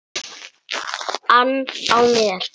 ann á mér.